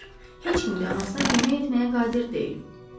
Heç kim də anasına kömək etməyə qadir deyil.